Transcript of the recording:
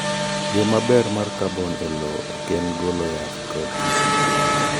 yo maber ma kabon e lowo ok en golo yath kod kisike ne duto kata kamano wyo keyo mnuore